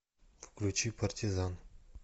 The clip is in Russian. включи партизан